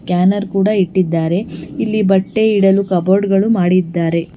Scanner ಕೂಡ ಇಟ್ಟಿದ್ದಾರೆ ಇಲ್ಲಿ ಬಟ್ಟೆ ಇಡಲು ಕಬೋರ್ಡ್ ಗಳು ಮಾಡಿದ್ದಾರೆ.